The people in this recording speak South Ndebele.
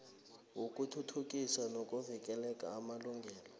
yokuthuthukisa nokuvikela amalungelo